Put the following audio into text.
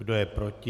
Kdo je proti?